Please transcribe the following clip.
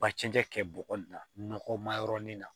Ba cɛncɛn kɛ bɔgɔ in na nɔgɔma yɔrɔ nin na